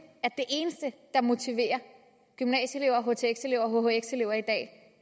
at motivere gymnasieelever htx elever og hhx elever i dag